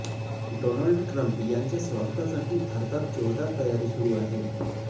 Donald Trump यांच्या स्वागतासाठी भारतात जोरदार तयारी सुरु आहे